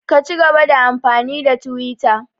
Ka cigaba da amfani da twita!